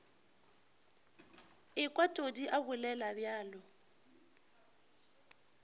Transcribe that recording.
ekwa todi a bolela bjalo